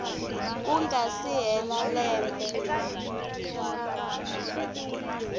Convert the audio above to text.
ku nga si hela lembe